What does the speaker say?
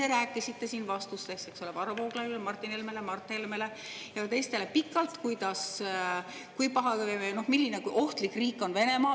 Ise rääkisite siin vastustes Varro Vooglaiule, Martin Helmele, Mart Helmele ja teistele pikalt, kui paha või kui ohtlik riik on Venemaa.